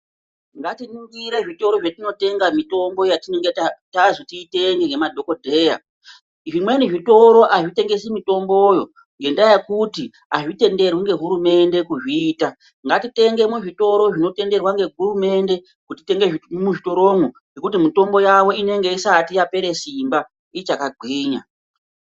Ngatiningire zvitoro zvetinotenga mitombo yetinonga tazi titenge nemadhokodheya . Zvimweni zvitoro zvitengesi mitomboyo ngenda yekuti azvitenderwi ngehurumende kuzviita. Ngatitenge muzvitoro zvinotenderwa ngehurumende kutenge muzvitoromwo ngekuti mutombo yavo inenge isati yapere simba ichakagwinya.